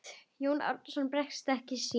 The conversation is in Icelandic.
Jón Arason bregst ekki sínum.